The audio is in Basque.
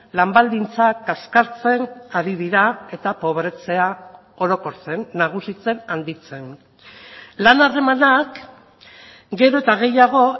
lan baldintzak kaskartzen ari dira eta pobretzea orokortzen nagusitzen handitzen lan harremanak gero eta gehiago